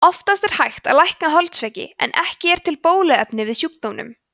oftast er hægt að lækna holdsveiki en ekki er til bóluefni við sjúkdómnum